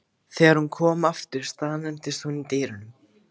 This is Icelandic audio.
Þegar hún kom aftur staðnæmdist hún í dyrunum.